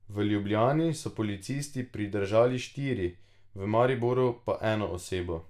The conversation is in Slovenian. V Ljubljani so policisti pridržali štiri, v Mariboru pa eno osebo.